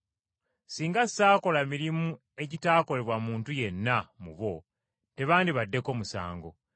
Ekyawandiikibwa ne kiryoka kituukirira ekigamba nti, ‘Bankyayira bwereere.’